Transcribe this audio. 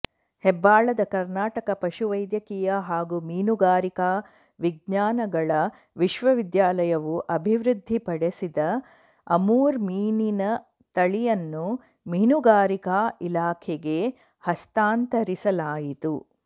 ಹೆಬ್ಬಾಳದ ಕರ್ನಾಟಕ ಪಶುವೈದ್ಯಕೀಯ ಹಾಗೂ ಮೀನುಗಾರಿಕಾ ವಿಜ್ಞಾನಗಳ ವಿಶ್ವವಿದ್ಯಾಲಯವು ಅಭಿವೃದ್ಧಿಪಡಿಸಿದ ಅಮೂರ್ ಮೀನಿನ ತಳಿಯನ್ನು ಮೀನುಗಾರಿಕಾ ಇಲಾಖೆಗೆ ಹಸ್ತಾಂತರಿಸಲಾಯಿತು